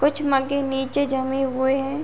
कुछ मगे नीचे जमे हुए हैं।